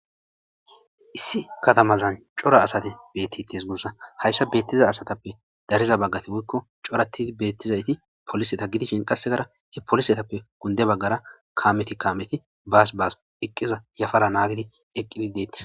issi katamazan cora asate beetti tees gussa hayssa beettiza asatappe dariza baggati wuikko coratii beettizayti poliseta gidishin qassegara he polisetappe kunde baggara kaameti kaameti baas baas eqqiza yafara naagidi eqqidi deettis